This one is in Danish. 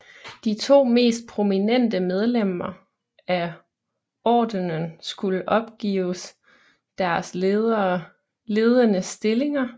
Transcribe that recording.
De to mest prominente medlemmer af ordenen skulle opgives deres ledende stillinger